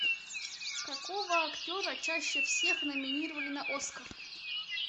какого актера чаще всех номинировали на оскар